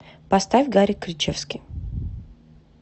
поставь гарик кричевский